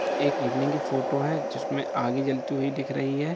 एक इवनिंग की फोटो हैं जिसमें आगें जलती हुई दिख रही है।